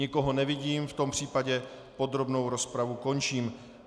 Nikoho nevidím, v tom případě podrobnou rozpravu končím.